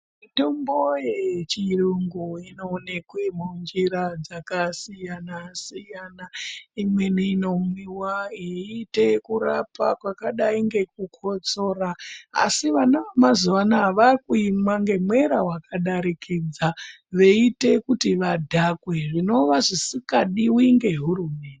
Mitombo yechiyungu inoonekwe munjira dzakasiyana-siyana. Imweni inomiva yeiite kurapa kwakadai ngekukotsora. Asi vana vamazuva anaya vakuimwa ngemwera vakadarikidza. Veiite kuti vadhakwe zvinova zvisikadivi ngehurumende.